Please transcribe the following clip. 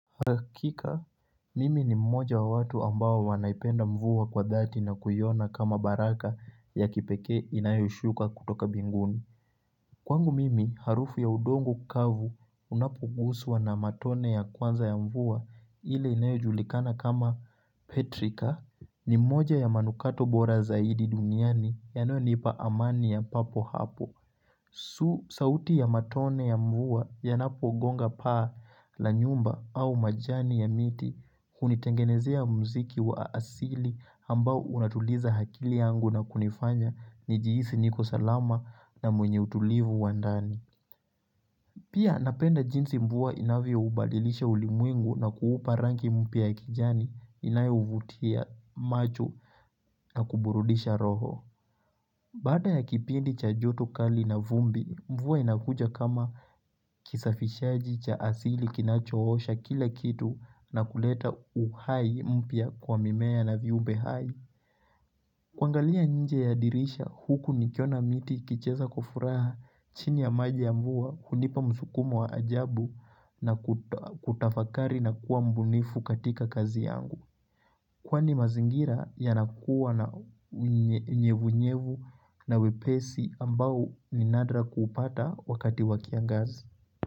Hakika, mimi ni mmoja wa watu ambao wanaipenda mvuwa kwa dhati na kuyona kama baraka ya kipeke inayoshuka kutoka binguni Kwangu mimi, harufu ya udongo kavu unapogusuwa na matone ya kwanza ya mvuwa ile inayojulikana kama petrika ni mmoja ya manukato bora zaidi duniani yana nipa amania papo hapo tu sauti ya matone ya mvuwa ya napo gonga paa la nyumba au majani ya miti kunitengenezea mziki wa asili ambao unatuliza akili yangu na kunifanya ni jihisi niko salama na mwenye utulivu wandani. Pia napenda jinsi mvua inavyo ubadilisha ulimwengu na kuupa rangi mpya ya kijani inayo uvutia macho na kuburudisha roho. Baada ya kipindi cha joto kali na vumbi, mvua inakuja kama kisafishaji cha asili kinachoosha kila kitu na kuleta uhai mpy kwa mimea na viumbe hai. Kuangalia nje ya dirisha huku nikiona miti kicheza kwafuraha chini ya maji ya mvua hunipa msukumo wa ajabu na kutafakari na kuwa mbunifu katika kazi yangu. Kwani mazingira ya nakuwa na unyevu nyevu na wepesi ambao ni nadra kuupata wakati wakiangazi.